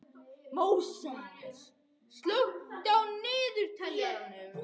Móses, slökktu á niðurteljaranum.